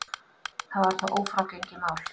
Það er þó ófrágengið mál.